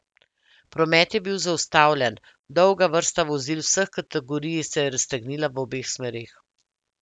Promet je bi zaustavljen, dolga vrsta vozil vseh kategorij se je raztegnila v obeh smereh.